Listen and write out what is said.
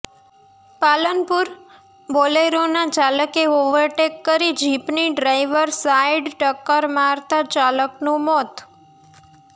પાલનપુરઃ બોલેરોના ચાલકે ઓવરટેક કરી જીપની ડ્રાઈવર સાઈડ ટક્કર મારતાં ચાલકનું મોત